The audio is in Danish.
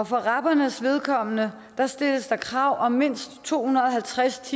for rabernes vedkommende stilles der krav om mindst to hundrede og halvtreds